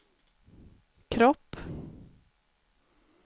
kropp